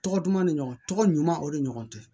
Tɔgɔ duman ni ɲɔgɔn tɔgɔ ɲuman o de ɲɔgɔn tɛ